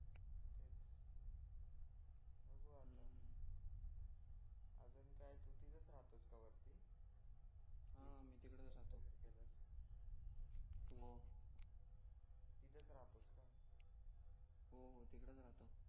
अजून काय तू तिथेच राहतो का वरती हा मी तिकडेच राहतो वर तिथेच राहतोस का हो हो तिकडेच राहतो